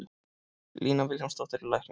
Lína Vilhjálmsdóttir er læknir.